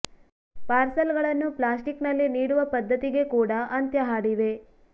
parcel ಗಳನ್ನು plastic ನಲ್ಲಿ ನೀಡುವ ಪದ್ಧತಿಗೆ ಕೂಡ ಅಂತ್ಯ ಹಾಡಿವೆ